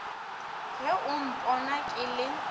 ge o mpona ke le